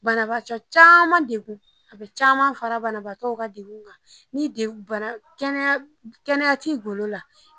Banabagatɔ caman a bɛ caman fara banabagatɔw ka bana kan ni kɛnɛya t'i golo la